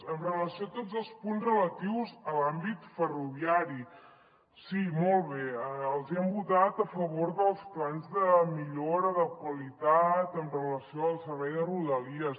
amb relació a tots els punts relatius a l’àmbit ferroviari sí molt bé els hi hem votat a favor dels plans de millora de qualitat amb relació al servei de rodalies